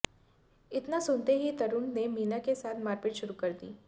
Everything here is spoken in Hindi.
इतना सुनते ही तरुण ने मीना के साथ मारपीट शुरू कर दी